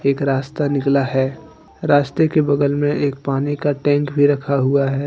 एक रास्ता निकला है रास्ते के बगल में एक पानी का टैंक भी रखा हुआ है।